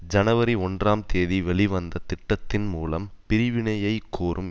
ஜனவரி ஒன்றாம் தேதி வெளிவந்த திட்டத்தின் மூலம் பிரிவினையைக் கோரும்